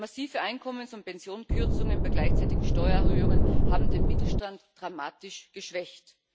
Massive Einkommens und Pensionskürzungen bei gleichzeitigen Steuererhöhungen haben den Mittelstand dramatisch geschwächt.